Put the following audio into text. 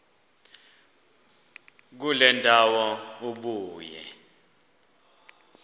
kule ndawo ubuye